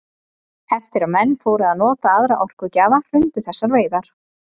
Eftir að menn fóru að nota aðra orkugjafa hrundu þessar veiðar.